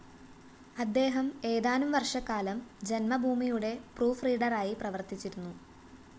അദ്ദേഹം ഏതാനും വര്‍ഷക്കാലം ജന്മഭൂമിയുടെ പ്രൂഫ്‌റീഡറായി പ്രവര്‍ത്തിച്ചിരുന്നു